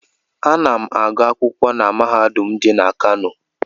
Ana m agụ akwụkwọ na mahadum dị na Kano.